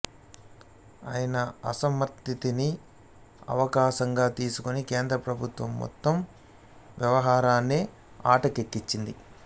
ఆయన అసమ్మతిని అవకాశంగా తీసుకొని కేంద్రప్రభుత్వం మొత్తం వ్యవహారాన్నే అటకెక్కించింది